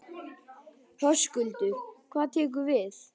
Höskuldur: Hvað tekur við?